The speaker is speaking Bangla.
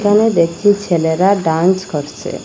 এখানে দেখছি ছেলেরা ডান্স করছে।